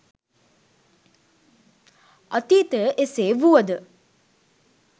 අතීතය එසේ වුවද